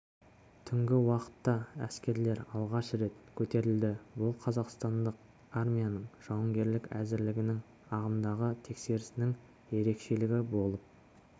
түнгі уақытта әскерлер алғаш рет көтерілді бұл қазақстандық армияның жауынгерлік әзірлігінің ағымдағы тексерісінің ерекшелігі болып